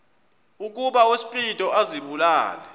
ukuba uspido azibulale